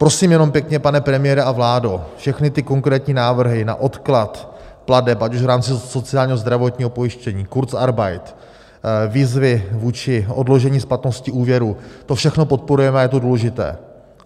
Prosím jenom pěkně, pane premiére a vládo, všechny ty konkrétní návrhy na odklad plateb ať už v rámci sociálního, zdravotního pojištění, kurzarbeit, výzvy vůči odložení splatnosti úvěru, to všechno podporujeme a je to důležité.